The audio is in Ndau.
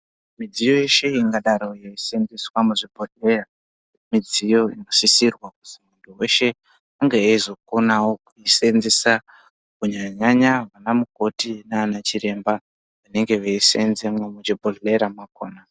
Midziyo yeshe ingadaro yeiseenzeswa muzvibhodhleya, midziyo inosisirwa kuti munthu weshe ange eizokonawo kuiseenzesa kunyanya- nyaya ana mukoti nana chiremba vanenge veisenzemwo muchibhedhlera mwakhona.